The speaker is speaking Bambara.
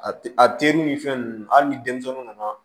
A ti a teri ni fɛn nunnu hali ni denmisɛnnin nana